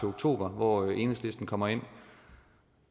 oktober hvor enhedslisten kommer ind